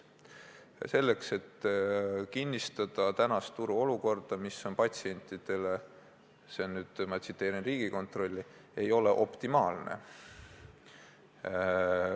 Seda sooviti, et kinnistada praegust turuolukorda, mis patsientidele Riigikontrolli hinnangul – ma tsiteerin – "ei ole optimaalne".